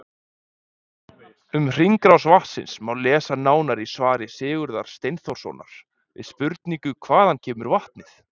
Um hringrás vatnsins má lesa nánar í svari Sigurðar Steinþórssonar við spurningunni Hvaðan kemur vatnið?